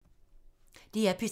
DR P3